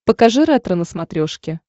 покажи ретро на смотрешке